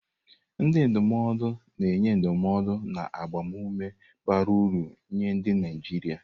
Ndị ndụmọdụ na-enye ndụmọdụ na agbamume bara uru nye ndị Naijiria.